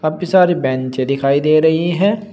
काफी सारी बेंचे दिखाई दे रही हैं।